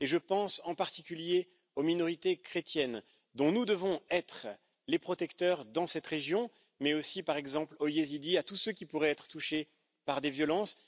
Je pense en particulier aux minorités chrétiennes, dont nous devons être les protecteurs dans cette région, mais aussi, par exemple, aux yézidis et à tous ceux qui pourraient être touchés par des violences.